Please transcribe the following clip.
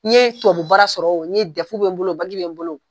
N ye tubabu baara sɔrɔ o n ye Dɛfu bɛ n bolo o Baki bɛ n bolo o